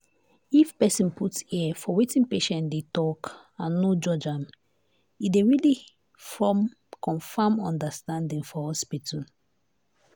if person put ear for wetin patient dey talk and no judge am e dey really form confam understanding for hospital.